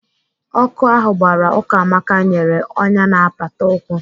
Ọkụ ahụ gbara Ukamaka nyere ọnyá na apata ụkwụ.